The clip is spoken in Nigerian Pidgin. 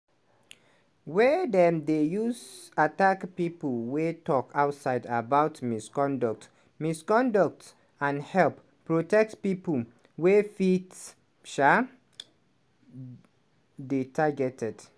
wey dem dey use attack pipo wey tok outside about misconduct misconduct and help protect pipo wey fit um dey targeted."